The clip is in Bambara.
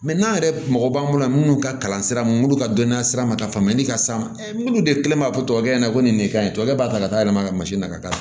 n'an yɛrɛ mɔgɔ b'an bolo yan minnu ka kalan sira man dɔnniya sira ma ka faamuyali ka s'an ma olu de kɛlen b'a fɔ tuwawukɛ ɲɛna ko nin ka ɲi tɔ b'a ta ka taa yɛlɛma ka na ka taa